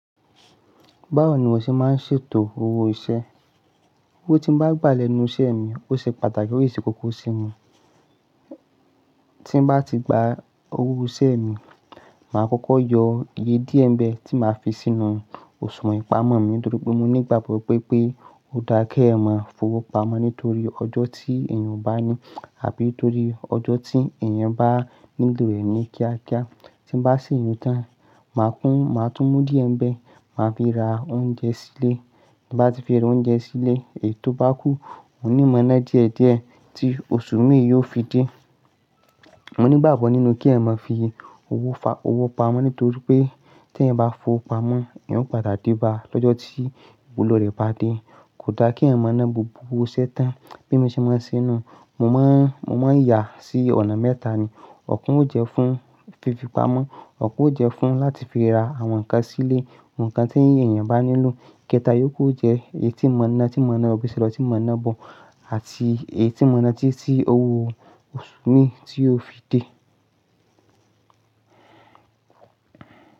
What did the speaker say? Báwo ni mọ ṣe máa ń ṣètò owó iṣẹ́? Owó tí n bá gbà lẹ́nu iṣẹ́ mi, ó ṣe pàtàkì osi se kókó sí i. Tí n bá ti gba owó iṣẹ́ mi, màá kókó yọ iye díẹ̀ ń bẹ tí màá fi sínú òṣùwọ̀n ìpamọ́ mi nítorí pe mo ní ìgbàgbọ́ wipé ó dára ke ẹyan máa fowó pamọ́ nítorí ọjọ́ tí èèyàn o bá ní abí torí ọjọ́ tí èèyàn bá nílò rẹ̀ ní kíákíá. Tí n bá ṣèyún tán, màá tún mú díẹ̀ ń bẹ, màá fi ra oúnjẹ sílé. Ti n bá ti fi ra oúnjẹ sílé, èyí tó bá kú, ohun ní mọ̀ nà díẹ̀díẹ̀ tí oṣù mi yóò fi dé. Mo ní ìgbàgbọ́ nínú kí ẹ̀yan ma fi owó pamọ́ nítorí pé tí ẹ̀yan bá fowó pamọ́, eyan o pada de bá lọ́jọ́ tí ìwúlò rẹ̀ bá dé. Kò dáa kí ẹ̀yan mo ná gbogbo owó iṣẹ́ tán. Bí mo ṣe máa ń ṣe ẹ́ nù, mo máa ń yà sí ọ̀nà mẹ́ta ni. Ọ̀kan ó jẹ́ fún fífi pamọ́, ọ̀kan ó jẹ́ fún láti fi ra àwọn nǹkan sílé, àwọn nǹkan tí èèyàn bá nílò. Kẹ́ta, yóòku o jẹ́ èyí tí n mọ̀ nà tí mọ̀nà lọ́ bi se lọ́ tí n mọ̀nà bọ̀ àti èyí tí mọ̀nà tí owó oṣù mi tí yóò fi dé.